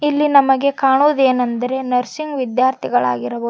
ಇಲ್ಲಿ ನಮಗೆ ಕಾಣುದೆನೆಂದರೆ ನರ್ಸಿಂಗ ವಿದ್ಯಾರ್ಥಿಗಳಾಗಿರಬ--